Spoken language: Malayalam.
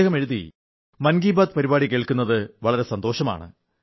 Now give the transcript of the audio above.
അദ്ദേഹം എഴുതി മൻ കീ ബാത് പരിപാടി കേൾക്കുന്നത് വളരെ സന്തോഷമാണ്